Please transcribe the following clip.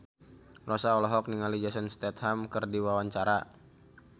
Rossa olohok ningali Jason Statham keur diwawancara